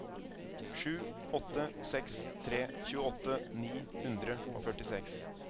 sju åtte seks tre tjueåtte ni hundre og førtiseks